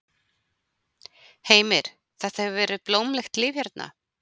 Heimir: Þetta hefur verið blómlegt líf hérna?